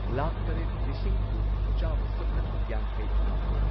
ꯂꯥꯈ ꯇꯔꯦꯠ ꯂꯤꯁꯤꯡ ꯀꯨꯟ ꯆꯥꯝꯃ ꯁꯨꯞꯅ ꯌꯥꯡꯈꯩ ꯃꯥꯊꯣꯏ